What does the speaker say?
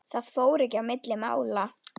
Það fór ekki milli mála.